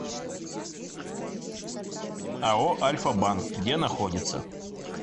ао альфа банк где находится